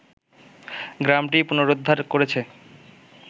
গ্রামটি পুনরুদ্ধার করেছে